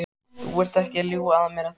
Þú ert ekki að ljúga að mér, er það?